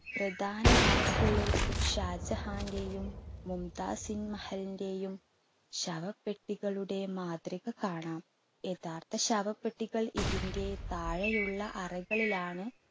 പ്രധാന അറയ്ക്കുള്ളിൽ ഷാജഹാന്റെയും മുംതാസിൻ മഹലിന്റെയും ശവപ്പെട്ടികളുടെ മാതൃക കാണാം. യഥാർത്ഥ ശവപ്പെട്ടികൾ ഇതിൻറെ താഴെയുള്ള അറകളിലാണ്